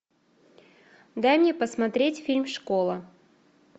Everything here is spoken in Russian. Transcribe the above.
дай мне посмотреть фильм школа